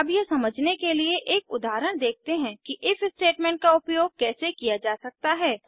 अब यह समझने के लिए एक उदाहरण देखते हैं कि इफ स्टेटमेंट का उपयोग कैसे किया जा सकता है